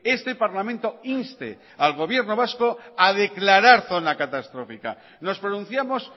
este parlamento inste al gobierno vasco a declarar zona catastrófica nos pronunciamos